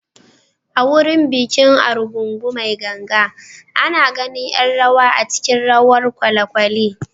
A wurin bikin Argungu mai ganga, ana ganin ’yan rawa a cikin rawar kwalekwale.